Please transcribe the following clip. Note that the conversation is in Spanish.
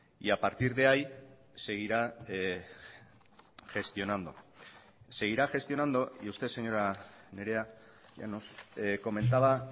y a partir de ahí seguirá gestionando seguirá gestionando y usted señora nerea llanos comentaba